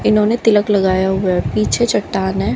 इन्होंने तिलक लगाया हुआ है। पीछे चट्टान है।